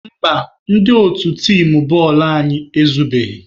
Mba, ndị otu tim bọọlụ anyị ezubeghị.